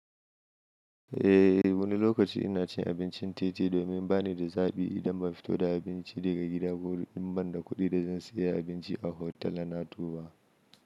Eh wani lokaci ina cin abincin titi domin bani da zaɓi idan ban fito da abinci daga gida ko in ban da kuɗi da zan sayi abinci a hotal na tuwa.